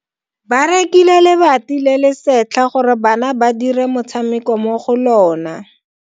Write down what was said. Ba rekile lebati le le setlha gore bana ba dire motshameko mo go lona.